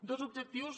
dos objectius